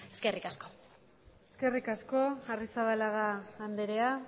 eskerrik asko eskerrik asko arrizabalaga andrea